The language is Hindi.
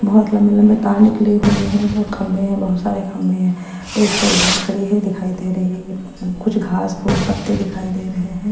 बहुत लम्बे लम्बे तार निकली है बहुत खम्बे है बहुत खम्बे है एक फोर व्हीलर खड़ी है दिखाई दे रही है सब कुछ घास पूस पत्ते दिखाई दे रही है।